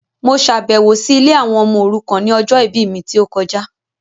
Mo ṣàbẹ̀wọ̀ si ilé àwọn ọmọ òrukàn ni ọjọ ìbí mi ti o kojá